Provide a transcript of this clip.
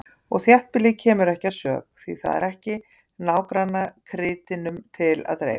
Og þéttbýlið kemur ekki að sök, því það er ekki nágrannakrytinum til að dreifa.